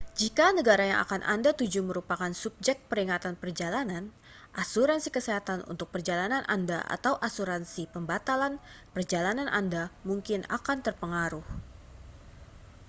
jika negara yang akan anda tuju merupakan subjek peringatan perjalanan asuransi kesehatan untuk perjalanan anda atau asuransi pembatalan perjalanan anda mungkin akan terpengaruh